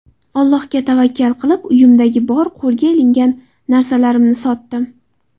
Allohga tavakkal qilib, uyimdagi bor qo‘lga ilingan narsalarimni sotdim.